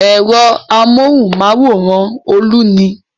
Ẹ̀rọ amóhùmáwòhán Olú ni.